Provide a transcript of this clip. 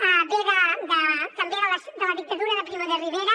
ve també de la dictadura de primo de rivera